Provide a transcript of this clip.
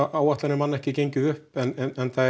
áætlanir hafa ekki gengið upp en það er